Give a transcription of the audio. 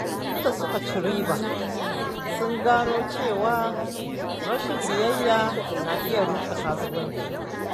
Bayan da suka ci riba, sun gano cewa rashin biyayya na iya rushe kasuwanci.